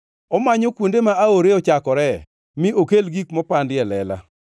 Omanyo kuonde ma aore ochakoree, mi okel gik mopandi e lela.